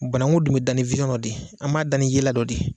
Banaku dun bɛ da ni de ye an b'a dan ni yela dɔ de ye.